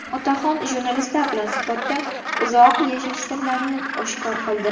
Otaxon jurnalistlar bilan suhbatda uzoq yashash sirlarini oshkor qildi.